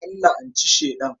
An la'anci Sheɗan.